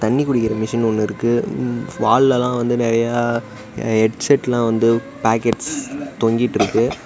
தண்ணி குடிக்கிற மிஷின் ஒன்னு இருக்கு வ் வால்ல வந்து நெறைய ஹெட்செட்லாம் வந்து பாக்கெட்ஸ் தொங்கிட்ருக்கு.